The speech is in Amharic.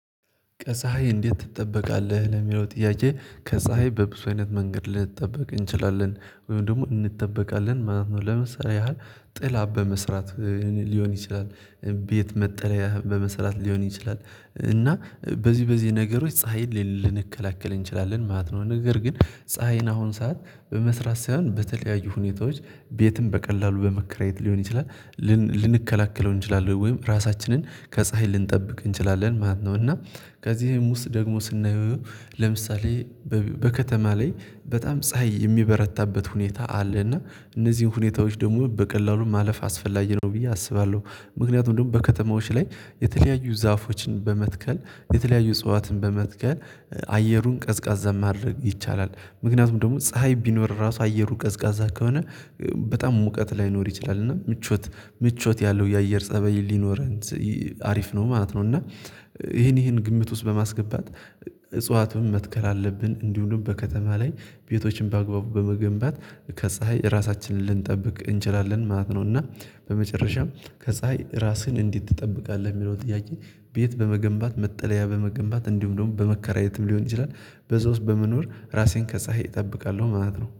ከፀሀይ እንዴት ትጠበቃለህ ለሚለው ጥያቄ? ከፀሀይ በብዙ አይነት መንገድ ልንጠበቅ እንችላለን ወይም ደግሞ እንጠበቃለን ማለት ነው። ለምሳሌ ያህል ጥላ በመስራት ሊሆን ይችላል። ቤት መጠለያ በመሰራት ሊሆን ይችላል። እና በዚህ በዚህ ነገሮች ፀሀይን ልንከላከል እንችላለን ማለት ነው። ነገር ግን ፀሀይን አሁን ሰዓት በመስራት ሳይሆን በተለያዩ ሁኔታዎች ቤትም በቀላሉ በመከራየት ሊሆን ይችላል። ልንከላከለው እንችላለን ወይም ራሳችንን ከፀሀይ ልንጠብቅ እንችላለን ማለት ነው። እና ከዚህም ውስጥ ደግሞ ስናየው ለምሳሌ በከተማ ላይ በጣም ፀሀይ የሚበረታበት ሁኔታ አለ። እና እነዚህን ሁኔታዎች ደግሞ በቀላሉ ማለፍ አስፈላጊ ነው ብዬ አስባለሁ። ምክንያቱም ደግሞ በከተማዎች ላይ የተለያዩ ዛፎችን በመትከል የተለያዩ እጽዋትን በመትከል አየሩን ቀዝቃዛ ማድረግ ይቻላል። ምክንያቱም ደግሞ ፀሀይ ቢኖር ራሱ አየሩ ቀዝቃዛ ከሆነ በጣም ሙቀት ላይኖር ይችላል እና ምቾት ምቾት ያለው የአየር ፀበይ ሊኖረን አሪፍ ነው ማለት ነው። እና ይሄን ይሄን ግምት ውስጥ በማስገባት እጽዋትን መትከል አለብን እንዲሁም በከተማ ላይ ቤቶችን በአግባቡ በመገንባት ከፀሀይ ራሳችንን ልንጠብቅ እንችላለን ማለት ነው። እና በመጨረሻም ከፀሀይ ራስህን እንዲህ ትጠብቃለህ የሚለው ጥያቄ? ቤት በመገንባት መጠለያ በመገንባት እንዲሁም ደግሞ በመከራየትም ሊሆን ይችላል። በዛ ውስጥ በመኖር ራሴን ከፀሀይ እጠብቃለሁ ማለት ነው